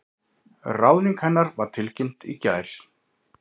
Ráðning hennar var tilkynnt í gær